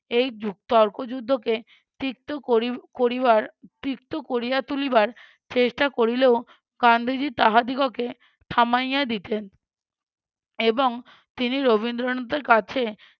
এই জু~ তর্ক যুদ্ধকে তিক্ত করি~ করিবার তিক্ত কোরিয়া তুলিবার চেষ্টা করিলেও গান্ধীজী তাহাদিগকে থামাইয়া দিতেন। এবং তিনি রবীন্দ্রনাথের কাছে